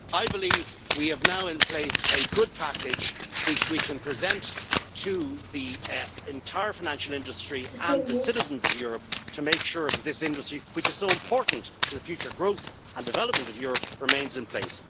I believe we now have in place a good package which we can present to the entire financial industry and to the citizens of Europe to make sure that this industry, which is so important to the future growth and development of Europe, remains in place.